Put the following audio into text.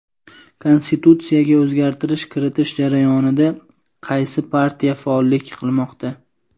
Konstitutsiyaga o‘zgartirish kiritish jarayonida qaysi partiya faollik qilmoqda?.